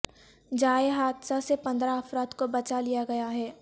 جائے حادثہ سے پندرہ افراد کو بچا لیا گیا ہے